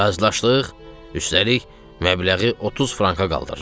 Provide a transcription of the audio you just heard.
Razılaşdıq, üstəlik, məbləği 30 franka qaldırırıq.